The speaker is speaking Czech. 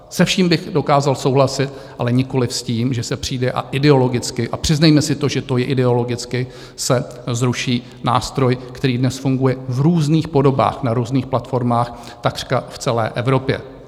Se vším bych dokázal souhlasit, ale nikoliv s tím, že se přijde a ideologicky - a přiznejme si to, že to je ideologicky - se zruší nástroj, který dnes funguje v různých podobách na různých platformách takřka v celé Evropě.